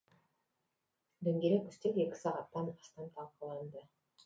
дөңгелек үстел екі сағаттан астам талқыланды